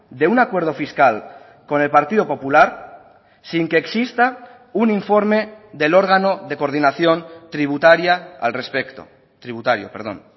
de un acuerdo fiscal con el partido popular sin que exista un informe del órgano de coordinación tributaria al respecto tributario perdón